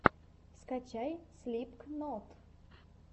скачай слипкнот